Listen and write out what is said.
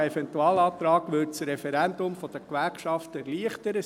Dieser Eventualantrag würde das Referendum der Gewerkschaften erleichtern: